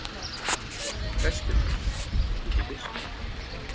Höskuldur: Út í buskann?